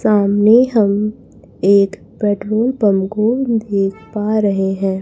सामने हम एक पेट्रोल पम को देख पा रहे है।